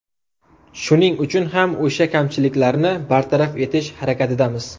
Shuning uchun ham o‘sha kamchiliklarni bartaraf etish harakatidamiz.